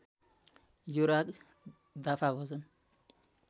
यो राग दाफा भजन